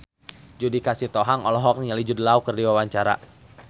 Judika Sitohang olohok ningali Jude Law keur diwawancara